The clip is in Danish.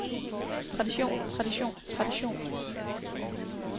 tradition tradition tradition